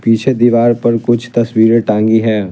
पीछे दीवार पर कुछ तस्वीरें टांगी हैं।